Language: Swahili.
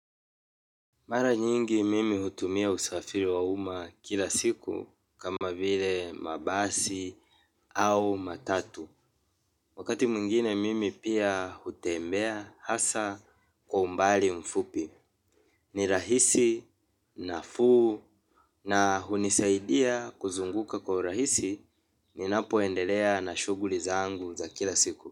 Mara nyingi mimi hutumia usafiri wa uma kila siku kama vile mabasi au matatu. Wakati mwingine mimi pia hutembea hasa kwa umbali mfupi. Ni rahisi nafuu na hunisaidia kuzunguka kwa urahisi ninapoendelea na shughuli zangu za kila siku.